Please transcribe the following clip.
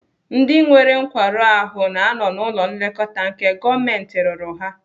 Ndị nwere nkwarụ ahụ na-anọ n'ụlọ nlekọta nke gọọmentị rụrụ ha.